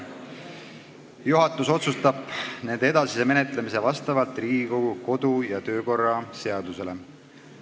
Juhatus otsustab nende edasise menetlemise vastavalt Riigikogu kodu- ja töökorra seadusele.